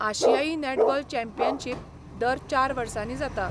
आशियाई netball championship दर चार वर्सांनी जाता.